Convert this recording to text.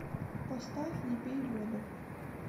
поставь не пей воду